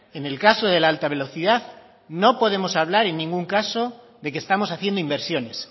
en el caso de la alta velocidad no podemos hablar en ningún caso de que estamos haciendo inversiones